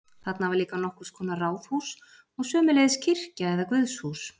Þarna var líka nokkurs konar ráðhús og sömuleiðis kirkja eða guðshús.